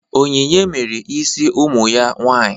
Onyinye mere isi ụmụ ya nwaanyị.